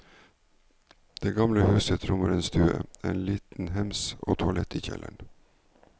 Det gamle huset rommer en stue, en liten hems og toaletter i kjelleren.